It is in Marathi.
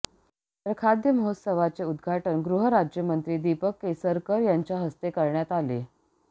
तर खाद्य महोत्सवाचे उद्घाटन गृह राज्यमंत्री दीपक केसरकर यांच्या हस्ते करण्यात आले